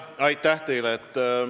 Aitäh teile!